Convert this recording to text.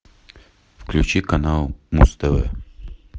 включи канал муз тв